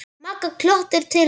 Magga glottir til hans.